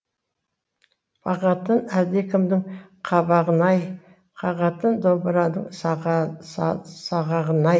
бағатын әлдекімнің қабағын ай қағатын домыраның сағағын ай